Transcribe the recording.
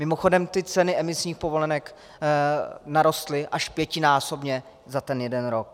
Mimochodem ty ceny emisních povolenek narostly až pětinásobně za ten jeden rok.